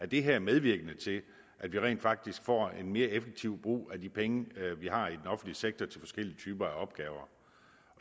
det her er medvirkende til at vi rent faktisk får en mere effektiv brug af de penge vi har i den offentlige sektor til forskellige typer af opgaver